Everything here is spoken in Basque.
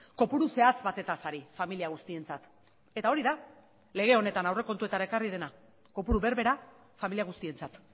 kopuru zehatz batez ari familia guztientzat eta hori da lege honetan aurrekontuetara ekarri dena kopuru berbera familia guztientzat